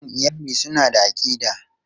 Dukan iyali suna da aƙida.